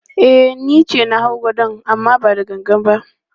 E, ni ce na hau gadon amma ba da gangan ba.